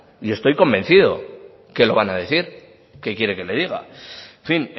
y estoy convencido que lo van a decir qué quiere que le diga en fin